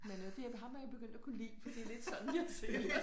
Men øh det jeg ham er jeg begyndt at kunne lide for det lidt sådan jeg ser